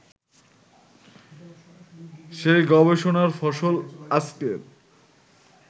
সেই গবেষণার ফসল আজকের